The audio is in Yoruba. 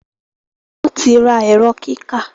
wón tí rà Ẹ̀rọ kíkà